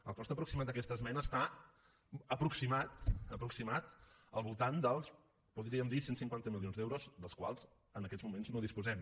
el cost aproximat d’aquesta esmena està aproximat al voltant dels podríem dir cent i cinquanta milions d’euros dels quals en aquests moments no disposem